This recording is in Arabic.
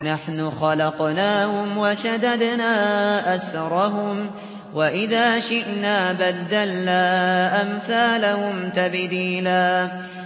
نَّحْنُ خَلَقْنَاهُمْ وَشَدَدْنَا أَسْرَهُمْ ۖ وَإِذَا شِئْنَا بَدَّلْنَا أَمْثَالَهُمْ تَبْدِيلًا